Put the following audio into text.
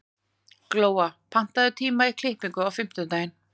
Glóa, pantaðu tíma í klippingu á fimmtudaginn.